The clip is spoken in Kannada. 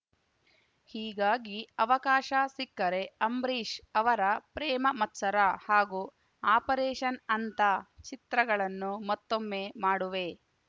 ಹೀಗಾಗಿ ಅವಕಾಶ ಸಿಕ್ಕರೆ ಅಂಬರೀಷ್‌ ಅವರ ಪ್ರೇಮ ಮತ್ಸರ ಹಾಗೂ ಆಪರೇಷನ್‌ ಅಂತ ಚಿತ್ರಗಳನ್ನು ಮತ್ತೊಮ್ಮೆ ಮಾಡುವೆ